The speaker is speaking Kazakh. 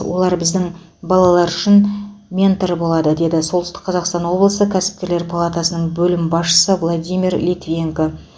олар біздің балалар үшін ментор болады деді солтүстік қазақстан облысы кәсіпкерлер палатасының бөлім басшысы владимир литвиненко